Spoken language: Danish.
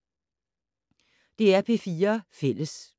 DR P4 Fælles